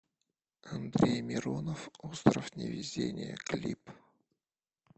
андрей миронов остров невезения клип